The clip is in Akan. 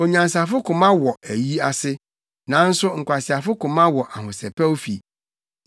Onyansafo koma wɔ ayi ase, nanso nkwaseafo koma wɔ ahosɛpɛwfo fi.